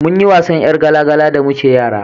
munyi wasan yar gala gala da muke yara